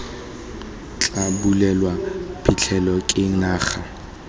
tla bulelwa phitlhelelo ke naga